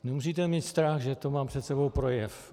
Nemusíte mít strach, že tu mám před sebou projev.